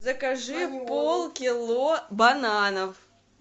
закажи полкило бананов